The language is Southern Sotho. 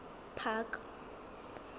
park